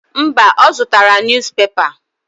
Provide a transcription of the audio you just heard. Mba, ọ zụtara nus pepa.